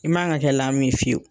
I man ka kɛ lamu ye fiyewu.